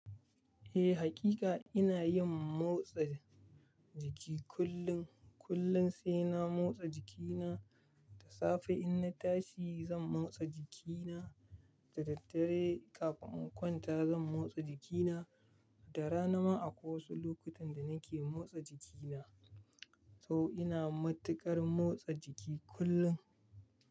Eh, hakika ina yin motsa jiki kullun. Kullun sai na motsa jikina da safe in na tashi zan motsa jikina da daddare kafin in kwanta zan motsa jikina da rana ma akwai wasu lokutan da nake motsa jikina. To ina matuƙar motsa jiki kullum.